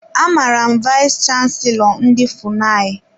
Amara m vayis chansilọ ndị FUNAI.